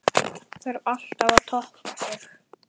Þarf alltaf að toppa sig?